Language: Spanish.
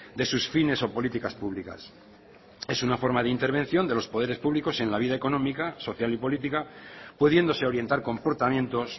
de sus fines o políticas públicas es una forma de intervención de los poderes públicos en la vida económica social y política pudiéndose orientar comportamientos